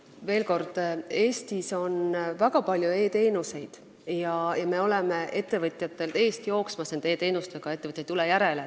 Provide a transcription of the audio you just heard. Veel kord: Eestis on väga palju e-teenuseid ja me oleme nende e-teenustega ettevõtjatelt eest ära jooksmas, ettevõtjad ei tule järele.